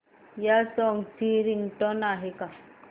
या सॉन्ग ची रिंगटोन आहे का